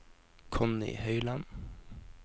Connie Høiland